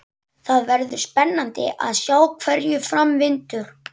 Það verður spennandi að sjá hverju fram vindur.